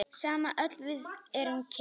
Sama öll við erum kyn.